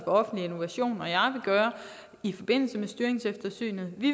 offentlig innovation og jeg vil gøre i forbindelse med styringseftersynet vi